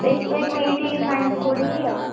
ସେଇଥିପାଇଁ ମୁଁ ଏଇଟି Science ପଢିଲି ଆଉ।